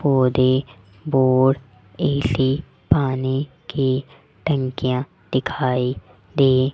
पौधे बोर्ड एली पानी कि टंकियां दिखाई दे --